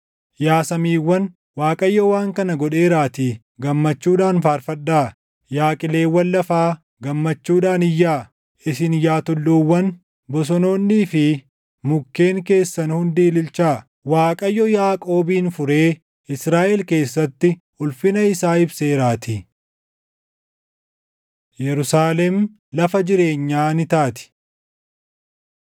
Yaa samiiwwan, Waaqayyo waan kana godheeraatii // gammachuudhaan faarfadhaa; yaa qileewwan lafaa, gammachuudhaan iyyaa. Isin yaa tulluuwwan, bosonoonnii fi mukkeen keessan hundi ililchaa; Waaqayyo Yaaqoobin furee Israaʼel keessatti ulfina isaa ibseeraatii. Yerusaalem Lafa Jireenyaa Ni Taati